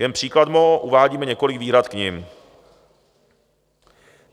Jen příkladmo, uvádíme několik výhrad k nim.